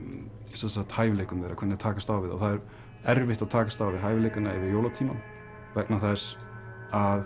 sem sagt hæfileikum þeirra hvernig þær takast á við þá það er erfitt að takast á við hæfileikana yfir jólatímann vegna þess að